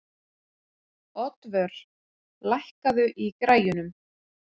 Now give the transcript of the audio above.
Oddvör, lækkaðu í græjunum.